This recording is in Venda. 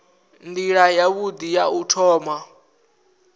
nila yavhui ya u thoma